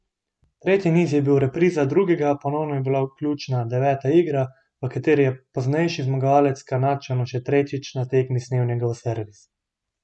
Tretji niz je bil repriza drugega, ponovno je bila ključna deveta igra, v kateri je poznejši zmagovalec Kanadčanu še tretjič na tekmi snel njegov servis.